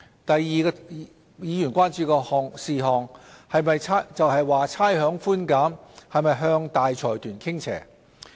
第二個議員關注事項，是差餉寬減是否向大財團傾斜。